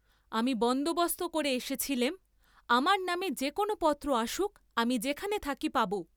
আমি বন্দবস্ত করে এসেছিলেম আমার নামে যে কোন পত্র আসুক আমি যেখানে থাকি পাব।